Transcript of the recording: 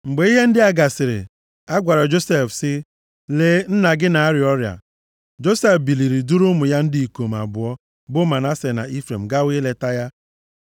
Mgbe ihe ndị a gasịrị, a gwara Josef sị, “Lee nna gị na-arịa ọrịa.” Josef biliri duru ụmụ ya ndị ikom abụọ bụ Manase na Ifrem gawa ileta ya.